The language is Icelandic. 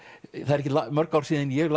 ekkert mörg ár síðan ég